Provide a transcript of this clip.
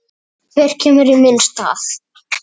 Hver kemur í minn stað?